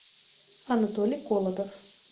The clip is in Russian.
анатолий колотов